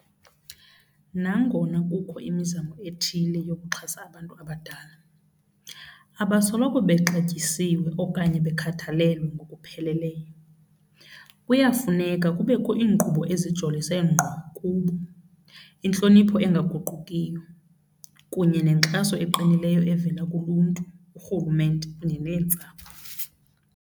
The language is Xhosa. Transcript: Nangona kukho imizamo ethile yokuxhasa abantu abadala, abasoloko bexatyisiwe okanye bekhathalelwe ngokupheleleyo. Kuyafuneka kubekho iinkqubo ezijolise ngqo kubo, intlonipho engaguqukiyo kunye nenkxaso eqinileyo evela kuluntu, urhulumente kunye neentsapho.